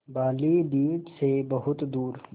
बालीद्वीप सें बहुत दूर